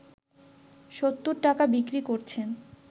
৭০ টাকায় বিক্রি করছেন